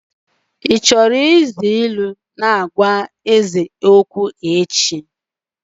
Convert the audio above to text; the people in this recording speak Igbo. Ị na-ahọrọ iji ilu na ị na-agwa eze okwu echi.